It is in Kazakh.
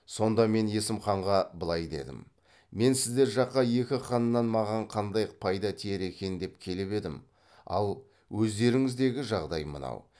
сонда мен есім ханға былай дедім мен сіздер жаққа екі ханнан маған қандай пайда тиер екен деп келіп едім ал өздеріңдегі жағдай мынау